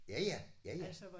Ja ja. Ja ja